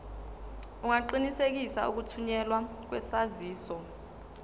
ungaqinisekisa ukuthunyelwa kwesaziso